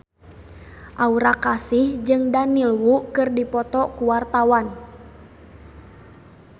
Aura Kasih jeung Daniel Wu keur dipoto ku wartawan